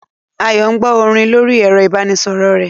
Ayo ń gbọ́ orin lórí ẹ̀rọ ìbánisọ̀rọ̀ rẹ̀